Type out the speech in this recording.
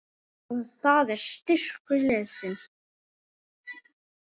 Og það er styrkur liðsins